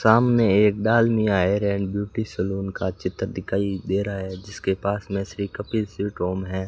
सामने एक डाल मियां हेयर एंड ब्यूटी सैलून का चित्र दिखाइए दे रहा है जिसके पास में श्री कपिल स्वीट होम है।